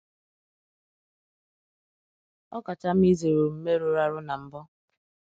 Ọ kacha mma izere omume rụrụ arụ na mbụ.